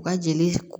U ka jeli